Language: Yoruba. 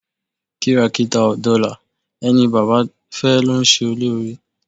Kìràkìtà ò dọlà ẹni baba fẹ́ ló ń ṣe lóore.